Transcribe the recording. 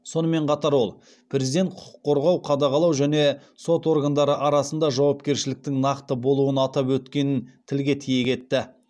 сонымен қатар ол президент құқық қорғау қадағалау және сот органдары арасында жауапкершіліктің нақты болуын атап өткенін тілге тиек етті